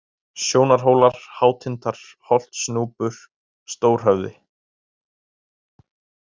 Sjónarhólar, Hátindar, Holtsnúpur, Stórhöfði